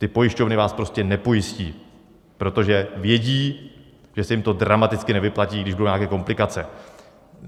Ty pojišťovny vás prostě nepojistí, protože vědí, že se jim to dramaticky nevyplatí, když budou nějaké komplikace.